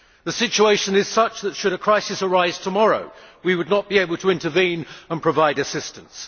The situation is such that, should a crisis arise tomorrow, we would not be able to intervene and provide assistance.